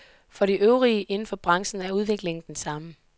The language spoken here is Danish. For de øvrige inden for branchen er udviklingen den samme.